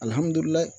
Alihamudulila